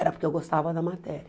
Era porque eu gostava da matéria.